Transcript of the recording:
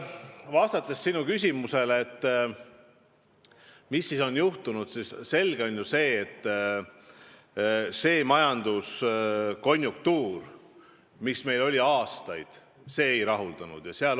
Vastates sinu küsimusele, mis siis on juhtunud, ütlen ma, et ilmselgelt see majanduse konjunktuur, mis meil oli aastaid, ei rahuldanud.